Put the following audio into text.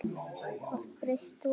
að breidd ofan.